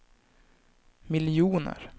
miljoner